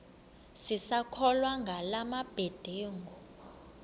sisakholwa ngala mabedengu